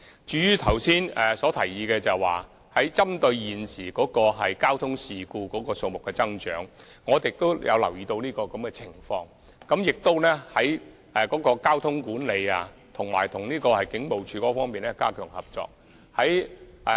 至於剛才的提議，針對現時交通事故數目增長，我們也留意到有此情況，並會在交通管理方面着手和與警務處加強合作。